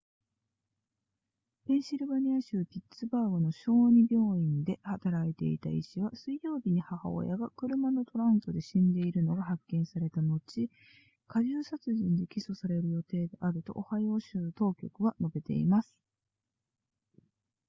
ペンシルベニア州ピッツバーグの小児病院で働いていた医師は水曜日に母親が車のトランクで死んでいるのが発見された後加重殺人で起訴される予定であるとオハイオ州の当局は述べています